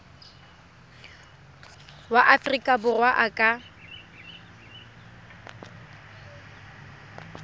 wa aforika borwa a ka